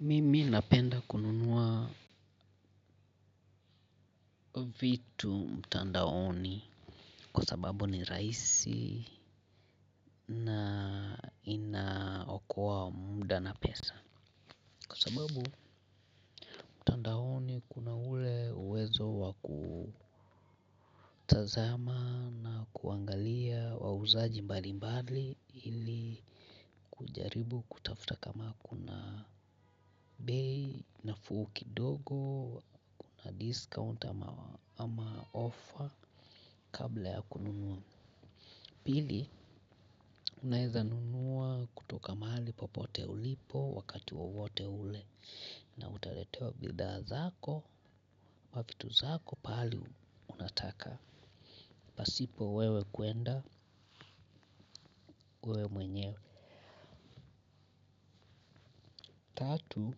Mimi napenda kununua vitu mtandaoni kwa sababu ni rahisi na inaokoa muda na pesa kwa sababu kuna ule uwezo wa kutazama na kuangalia wauzaji mbali mbali ili kujaribu kutafuta kama kuna bei nafuu kidogo na discount ama offer kabla ya kununua pili unaeza nunua kutoka mahali popote ulipo wakati wowote ule na utaletewa bidhaa zako ama vitu zako pahali unataka pasipo wewe kuenda, wewe mwenyewe tatu,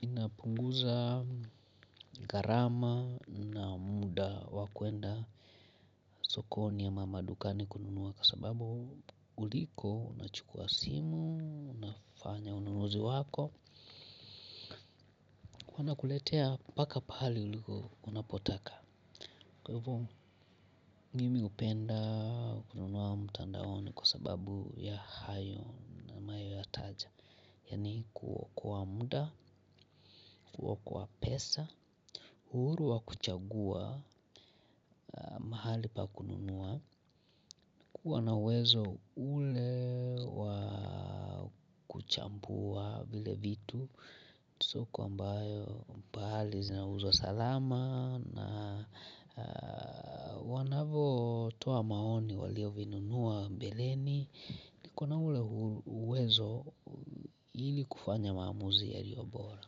inapunguza gharama na muda wa kuenda sokoni ama madukani kununua kwa sababu uliko unachukuwa simu, unafanya ununuzi wako wanakuletea mpaka pale unapotaka. Kwa hivyo mimi hupenda kununua mtandaoni kwa sababu ya hayo ninayoyataja yaani kuokoa muda, kuokoa pesa, uhuru wa kuchagua mahali pa kununua kuwa na uwezo ule wa kuchambua vile vitu sio kwamba mbali zinauzwa salama na wanavotoa maoni walio vinunua mbeleni niko na ule uwezo ili kufanya maamuzi yaliyo bora.